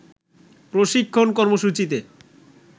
প্রশিক্ষণ কর্মসূচিতে